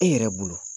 E yɛrɛ bolo